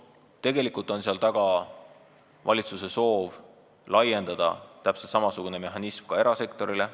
Tegelikult on seal taga valitsuse soov laiendada täpselt samasugune mehhanism ka erasektorile.